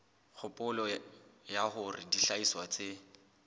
kgopolo ya hore dihlahiswa tse